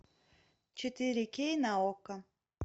четыре кей на окко